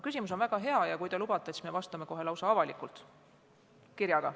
Küsimus on väga hea ja kui te lubate, siis me vastame sellele lausa avaliku kirjaga.